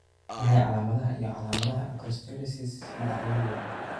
Waa maxay calaamadaha iyo calaamadaha Acrosteolysis nooca ugu weyn?